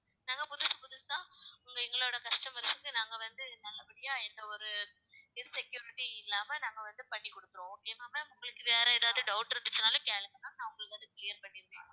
நாங்க புதுசு புதுசா எங்களோட customers க்கு நாங்க வந்து, நல்லபடியா இந்த ஒரு இது insecurity இல்லாம நாங்க வந்து, பண்ணி கொடுக்கிறோம். okay ma'am உங்களுக்கு வேற ஏதாவது doubt இருந்துச்சுன்னாலும் கேளுங்க நான் உங்களுக்கு அதை clear பண்ணிடுவேன்